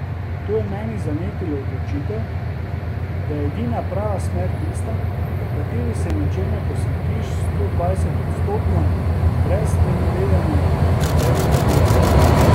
To je v meni zanetilo odločitev, da je edina prava smer tista, v kateri se nečemu posvetiš stodvajsetodstotno, brez sprenevedanja, brez blefiranja.